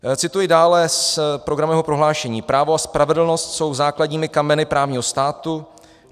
Cituji dále z programového prohlášení: "Právo a spravedlnost jsou základními kameny právního státu.